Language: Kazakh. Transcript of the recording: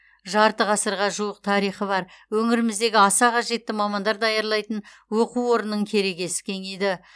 жарты ғасырға жуық тарихы бар өңіріміздегі аса қажетті мамандар даярлайтын оқу орнының керегесі кеңейді